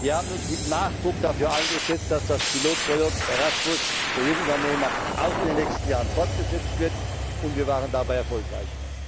Wir haben uns mit Nachdruck dafür eingesetzt, dass das Pilotprojekt Erasmus für Jungunternehmer auch in den nächsten Jahren fortgesetzt wird, und wir waren dabei erfolgreich.